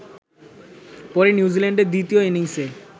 পরে নিউজিল্যান্ডের দ্বিতীয় ইনিংসে